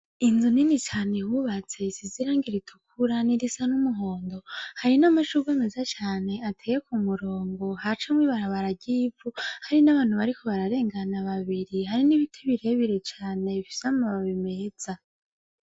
Inzu nini cane bubatse isize irangi ritukura n'irisa n'umuhondo, hari n'amashurwe meza cane ateye ku murongo hacamwo ibarabara ry'ivu, hari n'abantu bariko bararengana babiri hari n'ibiti birebire cane bifise amababi meza.